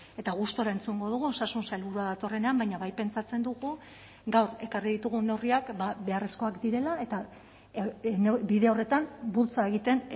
eta gustura entzungo dugu osasun sailburua datorrenean baina bai pentsatzen dugu gaur ekarri ditugun neurriak beharrezkoak direla eta bide horretan bultza egiten